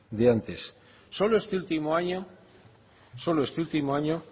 solo este último año